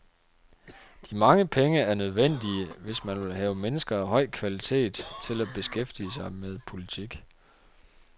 De mange penge er nødvendige, hvis man vil have mennesker af høj kvalitet til at beskæftige sig med politik.